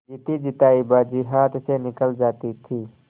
जीतीजितायी बाजी हाथ से निकली जाती थी